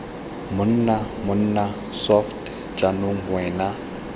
monna mmona soft jaanong wena